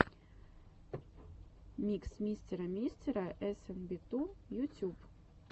микс мистера мистера эс эн би ту ютюб